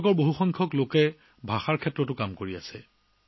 এইসকল লোকৰ অধিকাংশই ভাষাৰ ক্ষেত্ৰত কাম কৰি আছে